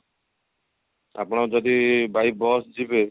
ଆପଣ ଯଦି bike bus ଯିବେ